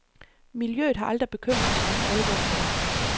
Miljøet har aldrig bekymret mig for alvor før.